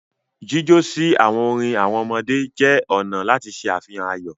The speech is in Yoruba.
Jíjọ si awọn orin awọn ọmọdé jẹ ọna lati ṣe afihan ayọ.